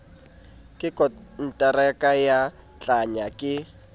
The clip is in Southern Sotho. ka konteraka ba tlangwa ke